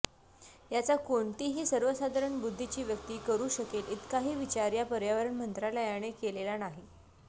याचा कोणतीही सर्वसाधारण बुद्धीची व्यक्ती करू शकेल इतकाही विचार या पर्यावरण मंत्रालयाने केलेला नाही